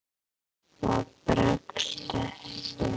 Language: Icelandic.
Það bregst ekki.